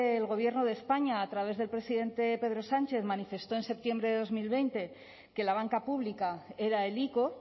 el gobierno de españa a través del presidente pedro sánchez manifestó en septiembre de dos mil veinte que la banca pública era el ico